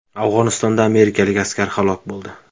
Afg‘onistonda amerikalik askar halok bo‘ldi.